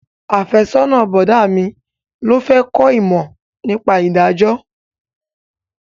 Afẹ́sọ́nà bọ̀dá mi ló fẹ́ kó ìmọ̀ nípa ìdájọ́